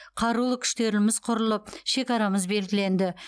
қарулы күштеріміз құрылып шекарамыз белгіленді